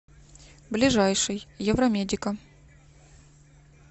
ближайший евромедика